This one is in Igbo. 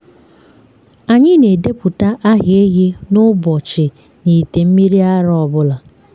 anyị na-edepụta aha ehi na ụbọchị n’ite mmiri ara ọ bụla.